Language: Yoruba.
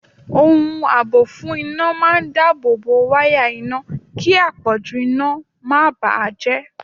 Ohun àbò fún iná máa dáábòbò wáyà iná kí àpọ̀jù iná máa bà á jẹ́.